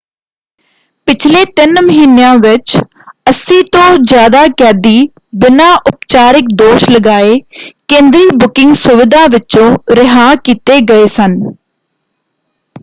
ਪਿਛਲੇ ਤਿੰਨ ਮਹੀਨਿਆਂ ਵਿੱਚ 80 ਤੋਂ ਜ਼ਿਆਦਾ ਕੈਦੀ ਬਿਨਾਂ ਉਪਚਾਰਿਕ ਦੋਸ਼ ਲਗਾਏ ਕੇਂਦਰੀ ਬੁਕਿੰਗ ਸੁਵਿਧਾ ਵਿਚੋਂ ਰਿਹਾਅ ਕੀਤੇ ਗਏ ਸਨ।